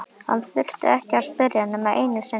Hann þurfti ekki að spyrja nema einu sinni.